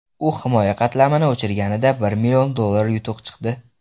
U himoya qatlamini o‘chirganida bir million dollar yutuq chiqdi.